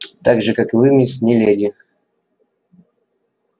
так же как и вы мисс не леди